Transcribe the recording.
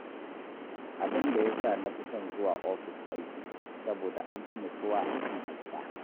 Abin da ya sa na fi son zuwa ofis aiki, saboda an fi nutsuwa a kan a gida